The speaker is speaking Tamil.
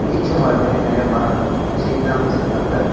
ஈச்சமரம் மாரி நெறைய மரம் இருக்கு செடிலா வெச்சிருக்காங்க.